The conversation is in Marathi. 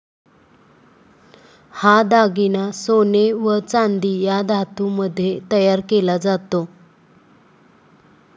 हा दागिना सोने व चांदी या धातूमध्ये तयार केला जातो.